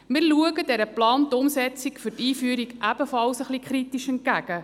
Wir schauen der geplanten Umsetzung für die Einführung ebenfalls ein bisschen kritisch entgegen.